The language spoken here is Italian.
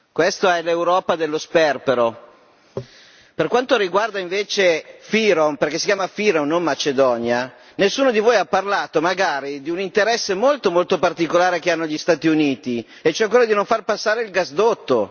Questa è l'Europa dello sperpero. Per quanto riguarda invece FYROM perché si chiama FYROM e non Macedonia nessuno di voi ha parlato di un interesse molto, molto particolare che hanno gli Stati Uniti e cioè quello di non far passare il gasdotto.